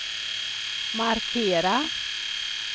markera